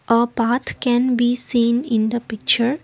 a path can be seen in the picture.